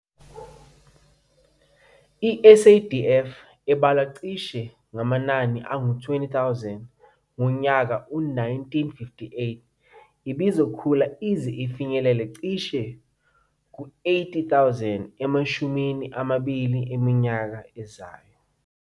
I-SADF, ebalwa cishe ngama-20 000 ngo-1958,ibizokhula ize ifinyelele cishe ku-80,000 emashumini amabili eminyaka ezayo.